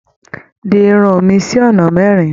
Di irun mi sí ọ̀nà mẹ́rin.